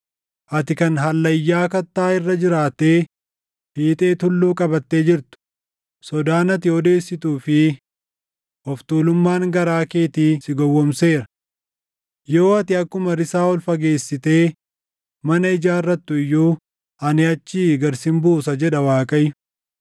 Ati kan hallayyaa kattaa irra jiraattee fiixee tulluu qabattee jirtu, sodaan ati odeessituu fi of tuulummaan garaa keetii si gowwoomseera. Yoo ati akkuma risaa ol fageessitee mana ijaarrattu iyyuu ani achii gad sin buusa” jedha Waaqayyo.